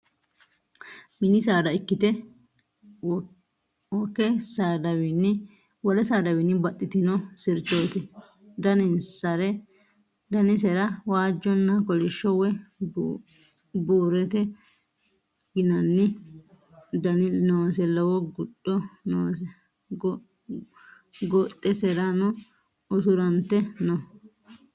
Mini saada ikkite woke saadawiinni baxxitino sirchoti danisera waajjonna kolishsho woy burrete yinanni Dani noose lowo gudho noose gooxesera usurante no